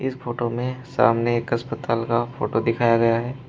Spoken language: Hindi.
फोटो में सामने एक अस्पताल का फोटो दिखाया गया है।